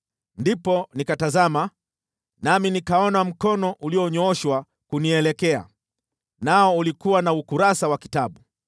Ndipo nikatazama, nami nikaona mkono ulionyooshwa kunielekea. Nao ulikuwa na ukurasa wa kitabu,